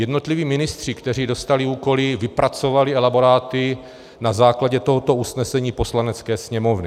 Jednotliví ministři, kteří dostali úkoly, vypracovali elaboráty na základě tohoto usnesení Poslanecké sněmovny.